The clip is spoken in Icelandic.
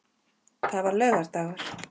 Það var laugardagur.